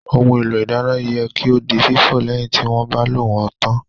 Ohun èlò ìdáná yẹ kí ó di fífọ̀ lẹ́yìn tí wọ́n bá lò wón tán